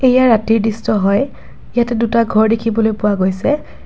এয়া ৰাতিৰ দৃশ্য হয় ইয়াতে দুটা ঘৰ দেখিবলৈ পোৱা গৈছে।